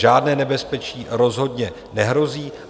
Žádné nebezpečí rozhodně nehrozí.